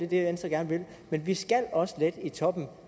det venstre gerne vil men vi skal også lette i toppen